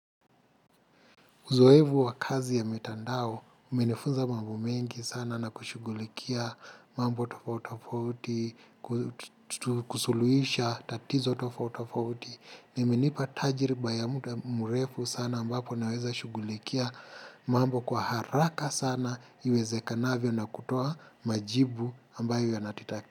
Uzoefu wa kazi ya mitandao, menifunza mambo mingi sana na kushughulikia mambo tofauti tofauti, kusuluisha tatizo tofauti tofauti. Nimenipa tajiriba ya muda mrefu sana ambapo naweza shughulikia mambo kwa haraka sana iwezekanavyo na kutoa majibu ambayo yanati.